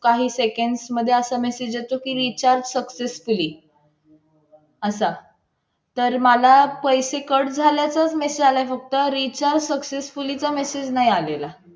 आणि त्याच्यातून पण भाजी विकली की त्याच्यातून अजून फायदा निघेल